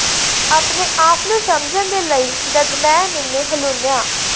ਆਪਣੇ ਆਪ ਨੂੰ ਸਮਝਣ ਦੇ ਲਈ ਜਦ ਮੈਂ ਮੈਨੂੰ ਹਲੂਣਿਆ